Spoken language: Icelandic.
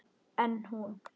En hún.